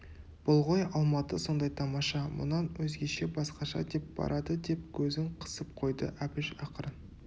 бұл ғой алматы сондай тамаша мұнан өзгеше басқаша деп барады деп көзін қысып қойды әбіш ақырын